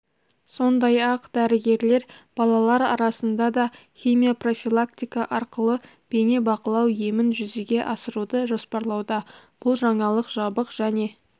сондай-ақ дәрігерлер балалар арасында да химия-профилактика арқылы бейне-бақылау емін жүзеге асыруды жоспарлауда бұл жаңалық жабық және